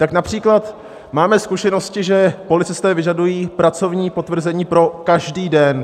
Tak například máme zkušenosti, že policisté vyžadují pracovní potvrzení pro každý den.